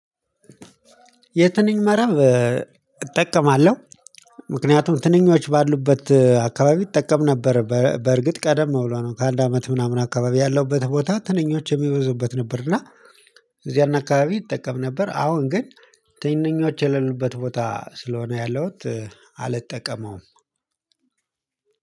የትንኝ መረብ እጠቀማለሁ። ምክንያቱም ትንኞች ባሉበት አካባቢ እጠቀም ነበር በእርግጥ ቀደም ብሎ ነው ከአንድ አመት ምናምን አካባቢ ያለውበት ቦታ ትንኞች የሚበዙበት ነበር። እዚያና አካባቢ ይጠቀም ነበር አሁን ግን ትንንኞች የሌሉበት ቦታ ስለሆነ ያለሁት አልጠቀመውም።